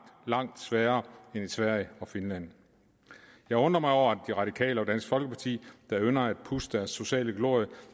langt sværere end i sverige og i finland jeg undrer mig over at de radikale og dansk folkeparti der ynder at pudse deres sociale glorie